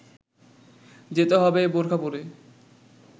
যেতে হবে বোরখা পরে